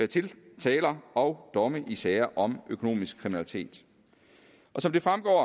tiltaler og domme i sager om økonomisk kriminalitet som det fremgår